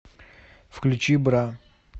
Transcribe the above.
включи бра